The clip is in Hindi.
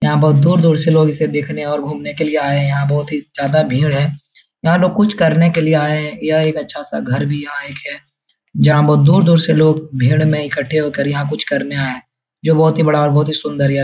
यहाँ बहुत दूर-दूर से लोग इसे देखने के लिए और घूमने के लिए आए है यहाँ बहुत ज्यादा भीड़ हैं यहाँ लोग कुछ करने के लिए आए यह एक अच्छा सा घर भी यहाँ एक है जहाँ बहुत दूर-दूर से लोग भीड़ में इकट्ठे होकर यहाँ कुछ करने आएं हैं जो बहोत ही बड़ा और बहुत ही सुन्दर --